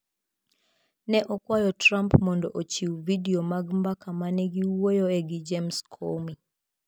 Ne okwayo Trump mondo ochiw vidio mag mbaka ma ne giwuoyoe gi James Comey